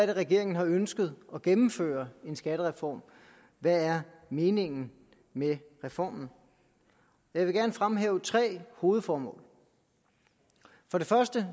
at regeringen har ønsket at gennemføre en skattereform hvad er meningen med reformen jeg vil gerne fremhæve tre hovedformål for det første